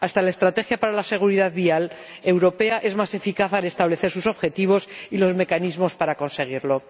Hasta la estrategia para la seguridad vial europea es más eficaz al establecer sus objetivos y los mecanismos para conseguirlo.